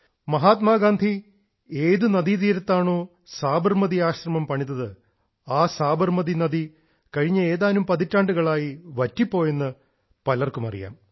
മഹാത്മാഗാന്ധി ഏത് നദീതീരത്താണോ സാബർമതി ആശ്രമം പണിതത് ആ സാബർമതി നദി കഴിഞ്ഞ ഏതാനും പതിറ്റാണ്ടുകളായി വറ്റിപ്പോയി എന്ന് പലർക്കും അറിയാം